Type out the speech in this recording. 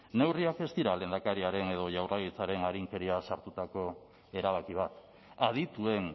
neurriak ez dira lehendakariaren edo jaurlaritzaren arinkeriaz hartutako erabaki bat adituen